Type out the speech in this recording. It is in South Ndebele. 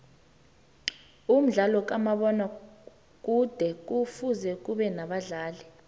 umdlalo kamabona kude kufuze ubenabadlali